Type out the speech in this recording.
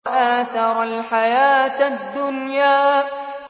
وَآثَرَ الْحَيَاةَ الدُّنْيَا